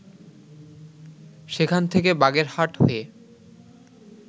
সেখান থেকে বাগেরহাট হয়ে